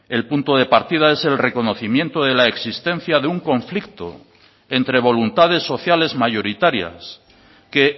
el punto de partida es el reconocimiento de la existencia de un conflicto entre voluntades sociales mayoritarias que